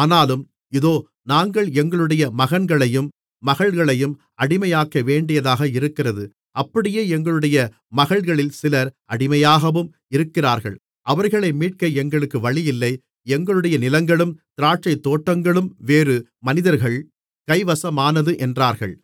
ஆனாலும் இதோ நாங்கள் எங்களுடைய மகன்களையும் மகள்களையும் அடிமையாக்கவேண்டியதாக இருக்கிறது அப்படியே எங்களுடைய மகள்களில் சிலர் அடிமையாகவும் இருக்கிறார்கள் அவர்களை மீட்க எங்களுக்கு வழியில்லை எங்களுடைய நிலங்களும் திராட்சைத்தோட்டங்களும் வேறு மனிதர்கள் கைவசமானது என்றார்கள்